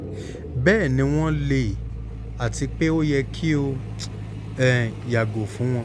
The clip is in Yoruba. bẹẹni wọn le ati pe o yẹ ki o um yago fun wọn